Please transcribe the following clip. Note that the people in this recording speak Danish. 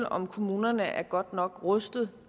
om kommunerne er godt nok rustet